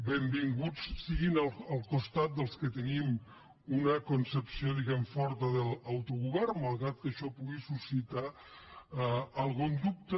benvinguts siguin al costat dels que tenim una concepció forta de l’autogovern malgrat que això pugui suscitar algun dubte